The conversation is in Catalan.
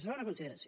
segona consideració